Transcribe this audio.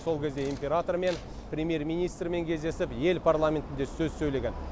сол кезде императормен премьер министрмен кездесіп ел парламентінде сөз сөйлеген